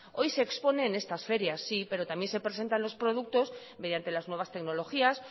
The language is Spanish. hoy se expone en estas ferias sí pero también se presentan los productos mediante las nuevas tecnologías